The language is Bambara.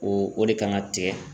O o de kan ka tigɛ